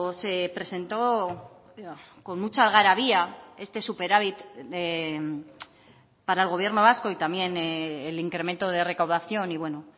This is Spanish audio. se presentó con mucha algarabía este superávit para el gobierno vasco y también el incremento de recaudación y bueno